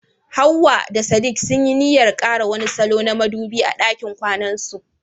Hawwa da sadik sunyi niyyar kara wani salo na madubi a ɗakin kwanansu..